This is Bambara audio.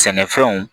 Sɛnɛfɛnw